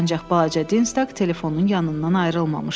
Ancaq balaca Dinz telefonunun yanından ayrılmamışdı.